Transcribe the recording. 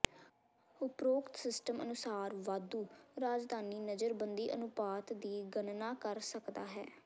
ਉਪਰੋਕਤ ਸਿਸਟਮ ਅਨੁਸਾਰ ਵਾਧੂ ਰਾਜਧਾਨੀ ਨਜ਼ਰਬੰਦੀ ਅਨੁਪਾਤ ਦੀ ਗਣਨਾ ਕਰ ਸਕਦਾ ਹੈ